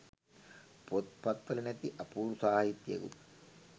පොත් පත් වල නැති අපූරු සාහිත්‍යයකුත්